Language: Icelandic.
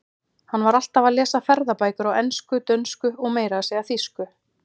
Hann var alltaf að lesa ferðabækur á ensku, dönsku og meira að segja þýsku.